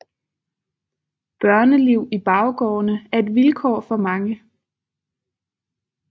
Børneliv i baggårdene er et vilkår for mange